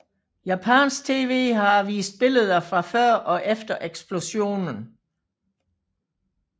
Japansk TV har vist billeder fra før og efter eksplosionen